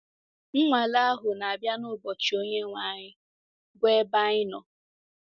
Nwale ahụ na-abịa n’ụbọchị Onyenwe anyị, bụ́ ebe anyị nọ.